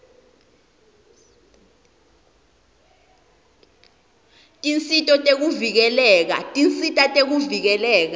tisita betekuvikeleka